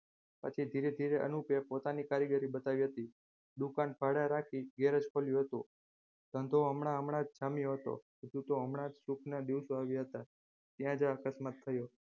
પછી ધીરે ધીરે અનુપે પોતાની કારીગરી બતાવી હતી. દુકાન ભાડે રાખી ગેરેજ ખોલ્યું હતું. ધંધો હમણાં જ જામ્યો હતો હજુ તો હમણાં જ સુખના દિવસો આવ્યા હતા ત્યાં જ આ અકસ્માત થયું.